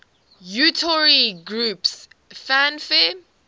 utari groups fanfare